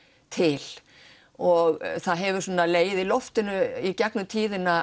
til og það hefur svona legið í loftinu í gegnum tíðina